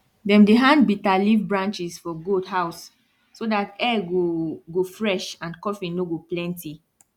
dem dey hand bitter leaf branches for goat house so that air go go fresh and coughing no go plenty